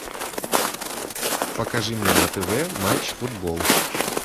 покажи мне на тв матч футбол